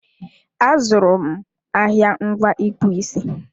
A zụrụ m ahịa ngwa ịkpụ isi